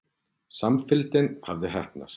Samfylgdin hafði heppnast.